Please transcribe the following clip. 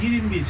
21.